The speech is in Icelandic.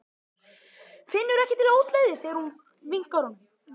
Finnur ekki til ógleði þegar hún vinkar honum.